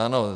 Ano.